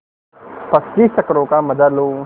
पच्चीस चक्करों का मजा लो